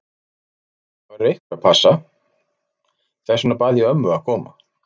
Það verður einhver að passa, þess vegna bað ég ömmu að koma.